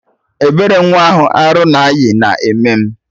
Ebere nwa ahụ arụ na ayị na eme m